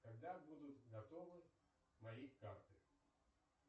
когда будут готовы мои карты